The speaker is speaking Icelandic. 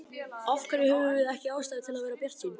Af hverju höfum við ekki ástæðu til að vera bjartsýn?